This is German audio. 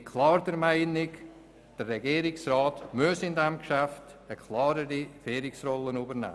Meines Erachtens muss der Regierungsrat in diesem Geschäft eine klarere Führungsrolle übernehmen.